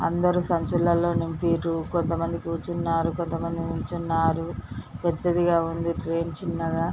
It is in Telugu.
అందరు సంచులలో నింపిన్రు కొంత మంది కూచున్నారు కొంతమంది నుంచున్నారు పెద్దదిగా ఉంది ట్రైన్ చిన్నగా --